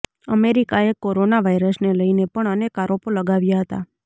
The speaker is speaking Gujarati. અમેરિકાએ કોરોના વાયરસને લઈને પણ અનેક આરોપો લગાવ્યા હતા